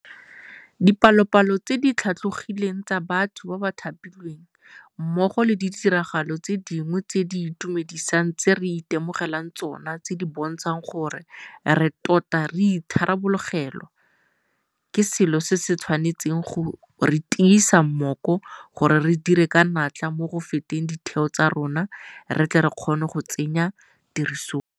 Dipalopalo tse di tlhatlhogileng tsa batho ba ba thapilweng, mmogo le ditiragalo tse dingwe tse di itumedisang tse re itemogelang tsona tse di bontshang gore re tota re itharabologelwa ke selo se se tshwanetseng go re tiisa mmoko gore re dire ka natla mo go fetoleng ditheo tsa rona re tle re kgone go tsenya tirisong.